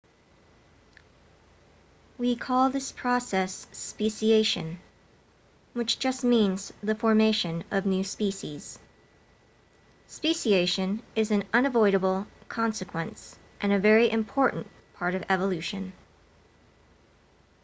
we call this process speciation which just means the formation of new species speciation is an unavoidable consequence and a very important part of evolution